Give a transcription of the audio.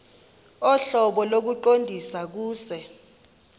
ohlobo lokuqondisa kuse